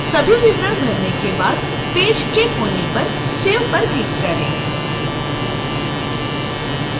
सभी विवरण भरने के बाद पेज के कोने पर save पर क्लिक करें